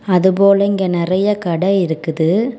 அது போல இங்க நெறய கட இருக்குது.